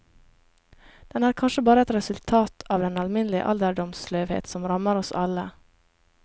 Den er kanskje bare et resultat av den alminnelige alderdomssløvhet som rammer oss alle.